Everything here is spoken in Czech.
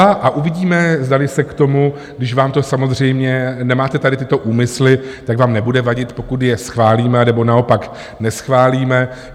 A uvidíme, zdali se k tomu, když vám to samozřejmě, nemáte tady tyto úmysly, tak vám nebude vadit, pokud je schválíme, nebo naopak neschválíme.